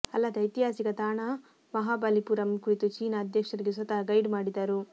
ಅಲ್ಲದೆ ಐತಿಹಾಸಿಕ ತಾಣ ಮಹಾಬಲಿಪುರಂ ಕುರಿತು ಚೀನಾ ಅಧ್ಯಕ್ಷರಿಗೆ ಸ್ವತಃ ಗೈಡ್ ಮಾಡಿದರು